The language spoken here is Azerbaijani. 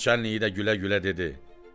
Naçalnik i də gülə-gülə dedi: